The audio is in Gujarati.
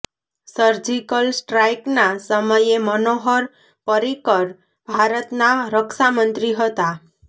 સર્જિકલ સ્ટ્રાઈકના સમયે મનોહર પર્રિકર ભારતના રક્ષા મંત્રી હતા